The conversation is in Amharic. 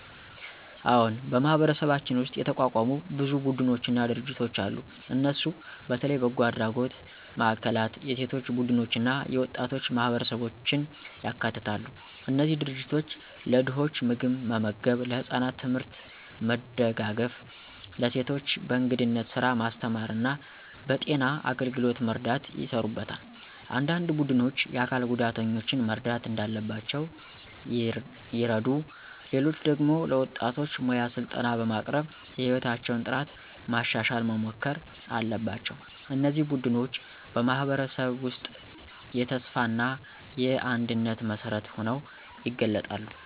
አዎን፣ በማህበረሰባችን ውስጥ የተቋቋሙ ብዙ ቡድኖችና ድርጅቶች አሉ። እነሱ በተለይ በጎ አድራጎት ማዕከላት፣ የሴቶች ቡድኖች እና የወጣቶች ማህበረሰቦችን ያካትታሉ። እነዚህ ድርጅቶች ለድኾች ምግብ መመገብ፣ ለህፃናት ትምህርት መደጋገፍ፣ ለሴቶች በእንግዳነት ስራ ማስተማር እና በጤና አገልግሎት መርዳት ይሰሩበታል። አንዳንድ ቡድኖች የአካል ጉዳተኞችን መርዳት እንዳለባቸው ይረዱ፣ ሌሎች ደግሞ ለወጣቶች ሙያ ስልጠና በማቅረብ የሕይወታቸውን ጥራት ማሻሻል መሞከር አለባቸው። እነዚህ ቡድኖች በማህበረሰብ ውስጥ የተስፋ እና የአንድነት መሠረት ሆነው ይገለጣሉ።